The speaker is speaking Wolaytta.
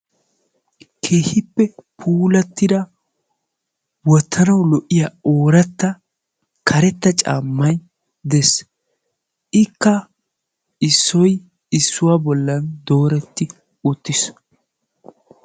Keehippe puulattida wottanawu lo'iya ooratta karetta caammay des; ikka issoy issuwa ballan dooreti uttis.